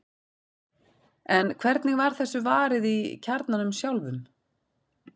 en hvernig var þessu varið í kjarnanum sjálfum